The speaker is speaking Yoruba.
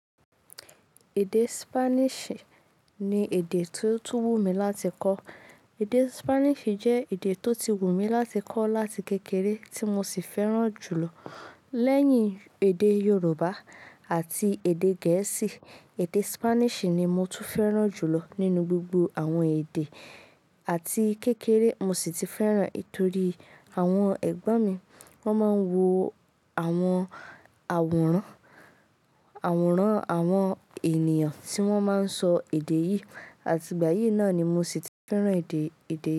Èdè Spanish ni èdè tí ó tún wúmi láti kọ́. Èdè Spanish jẹ́ èdè tó ti wù mí láti kọ́ láti kékeré tí mo sì fẹ́ràn jùlọ. Lẹ́yìn èdè Yorùbá àti èdè Gẹ̀ẹ́sì, èdè Spanish ni mo tún fẹ́ràn jùlọ nínú gbogbo àwọn èdè àti kékeré mo sì ti fẹ́ràn nítorí àwọn ẹ̀gbọ́n mi wọ́n máa ń wo àwọn àwòrán, àwòrán àwọn ènìyàn tí wọ́n máa ń sọ èdè yìí àti ìgbà yìí náà ni mo sì ti fẹ́ràn èdè, èdè yìí.